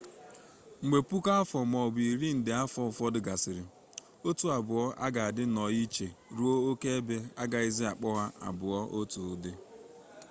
mgbe puku afọ maọbụ rịị nde afọ ụfọdụ gasịrị otu abụọ a ga adị nnọọ iche ruo oke ebe agaghịzị akpọ ha abụọ otu ụdị